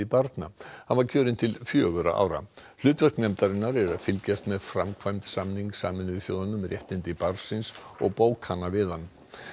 barna hann var kjörinn til fjögurra ára hlutverk nefndarinnar er að fylgjast með framkvæmd samnings Sameinuðu þjóðanna um réttindi barnsins og bókana við hann